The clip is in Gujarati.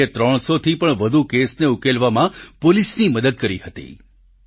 રોકીએ 300 થી પણ વધુ કેસને ઉકેલવામાં પોલીસની મદદ કરી હતી